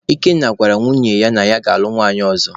Ikenna gwara nwunye ya na ya ga-alụ nwanyị ọzọ.